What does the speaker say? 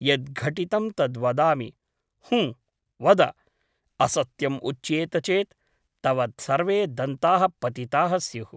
यत् घटितं तत् वदामि हुँ , वद । असत्यम् उच्येत चेत् तव सर्वे दन्ताः पतिताः स्युः ।